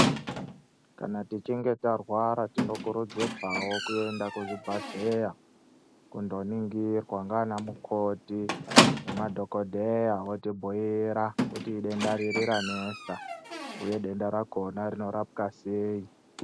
Kana tichinge tarwara tinokurudzirwawo kuti tiende kuzvibhehlera kundoningirwawo ndaana mukoti nemadhotera otibhiira kuti denda ririi ranesa uye denda rakona rinorapwa sei